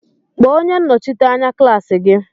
Kpọọ onye Nnọchite anya klaasi gị!